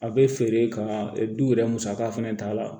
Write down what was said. A bɛ feere ka du yɛrɛ musaka fɛnɛ ta la